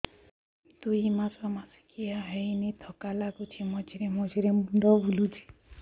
ଦୁଇ ମାସ ମାସିକିଆ ହେଇନି ଥକା ଲାଗୁଚି ମଝିରେ ମଝିରେ ମୁଣ୍ଡ ବୁଲୁଛି